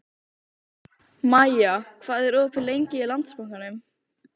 Maja, hvað er opið lengi í Landsbankanum?